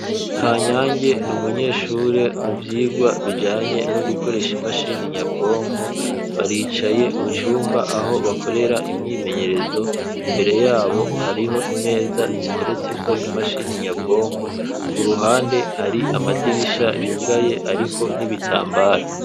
Ka nyange ni umunyeshure mu vyirwa bijanye no gukoresha imashini nyabwonko baricaye mu cumba aho bakorera imyimenyerezo imbere yabo hariho imeza ziteretseko imashini nyabwonko ku ruhande hari amadirisha yugaye, ariko nibitambara.